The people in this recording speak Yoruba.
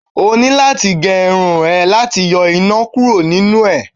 o ni lati ge Irun e lati yo ina kuro ninú e